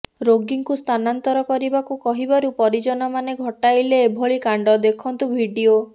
ରୋଗୀଙ୍କୁ ସ୍ଥାନାନ୍ତର କରିବାକୁ କହିବାରୁ ପରିଜନମାନେ ଘଟାଇଲେ ଏଭଳି କାଣ୍ଡ ଦେଖନ୍ତୁ ଭିଡିଓ